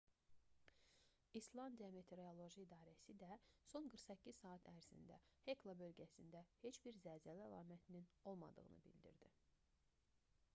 i̇slandiya meteoroloji i̇darəsi də son 48 saat ərzində hekla bölgəsində heç bir zəlzələ əlamətinin olmadığını bildirdi